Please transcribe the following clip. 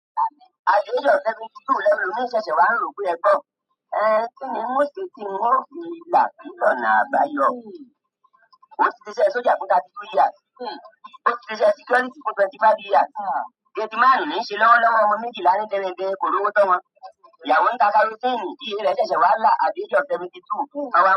At the age of seventy two lẹ́lo mii ṣẹ̀ṣẹ̀ wà n ro pe ẹgbọ́ o. Ẹ́ kínní n ó ṣe tí n ó fi làáfín lọ́nà àbáyọ? Àti ṣiṣe ẹ soldier fún thirty two years. Ó ti sise ẹ security fún twenty five years. Gate márùn-ún níí ṣe lọ́wọ́lọ́wọ́ ọmọ méjìlá ní gẹ́rẹ́gẹ́ korò tọ́ wọn. Ìyàwó ń ta kerosene. Iyẹ̀ rẹ̀ẹ́ ṣẹ̀ṣẹ̀ wà làá. At the age of seventy two.